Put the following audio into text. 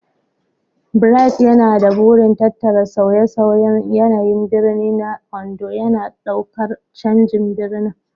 Bright yana da burin tattara sauye-sauyen yanayin birni na Ondo, yana ɗaukar canjin birnin.